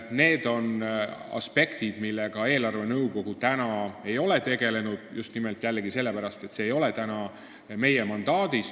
Need on aspektid, millega eelarvenõukogu ei ole tegelenud, just nimelt jällegi sellepärast, et seda ei näe ette meie mandaat.